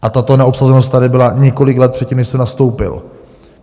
A tato neobsazenost tady byla několik let předtím, než jsem nastoupil.